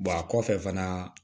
a kɔfɛ fana